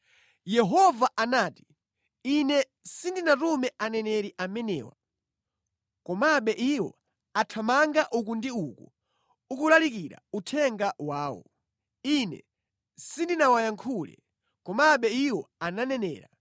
Yehova anati, “Ine sindinatume aneneri amenewa, komabe iwo athamanga uku ndi uku kulalikira uthenga wawo; Ine sindinawayankhule, komabe iwo ananenera.